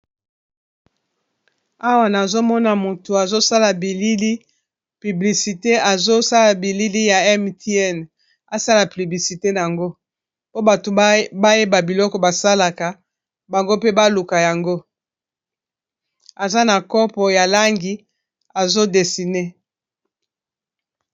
Awa nazomona moto azosala bilili piblisite azosala bilili ya Mtn asala piblisite nango po bato bayeba biloko basalaka bango mpe baluka yango aza na kopo ya langi azo desine.